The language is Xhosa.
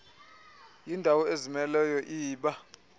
yindawo ezimeleyo iba